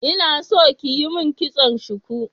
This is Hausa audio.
Ina so kiyi mun kitson shuku